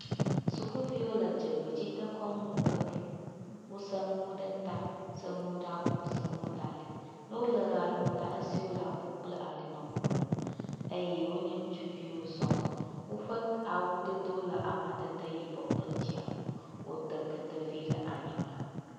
Sukuviwo le dzogbedzidekɔnu ʋe ɖum. Wose ŋuwo ɖe ta. Se ŋuwo ɖe abɔ se ŋuwo ɖe ali. Ne wole ʋea ɖum la esiwo le abɔ kple ali nɔ ŋuŋum eye wonye ŋutsuviwo sɔŋ. Woƒe k awudodo le amadede yibɔ kple dziame. Wote ketevi ɖe anyigba.